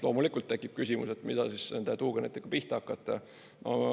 Loomulikult tekib küsimus, mida nende tuugenitega pihta hakata.